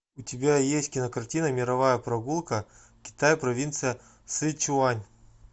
у тебя есть кинокартина мировая прогулка китай провинция сычуань